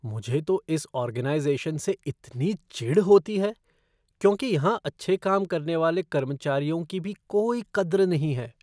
मुझे तो इस ऑर्गेनाइज़ेशन से इतनी चिढ़ होती है, क्योंकि यहां अच्छे काम करने वाले कर्मचारियों की भी कोई कद्र नहीं है।